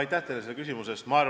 Aitäh teile selle küsimuse eest!